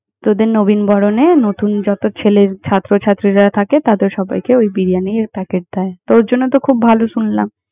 তোদের নবীনবরণে নতুন যত ছেলে~ ছাত্রছাত্রীরা থাকে, তাদের সবাইকে ওই বিরিয়ানির packet দেয়। তোর জন্য তো খুব ভালো শুনলাম।